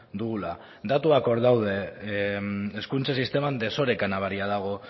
dugula datuak hor daude hezkuntza sisteman desoreka nabaria dago